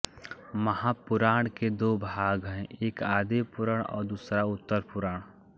महापुराण के दो भाग हैं एक आदिपुराण और दूसरा उत्तरपुराण